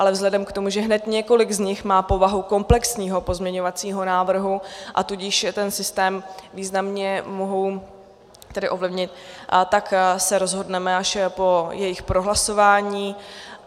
Ale vzhledem k tomu, že hned několik z nich má povahu komplexního pozměňovacího návrhu, a tudíž ten systém významně mohou tedy ovlivnit, tak se rozhodneme až po jejich prohlasování.